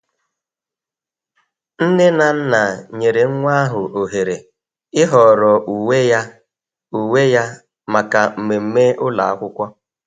Nne na nna nyere nwa ahụ ohere ịhọrọ uwe ya uwe ya maka mmemme ụlọ akwụkwọ.